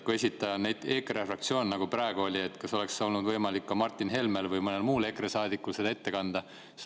Kui esitaja on EKRE fraktsioon, nagu praegu oli, siis kas seda oleks olnud võimalik ette kanda ka Martin Helmel või mõnel muul EKRE saadikul?